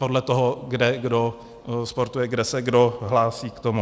Podle toho, kde kdo sportuje, kde se kdo hlásí k tomu.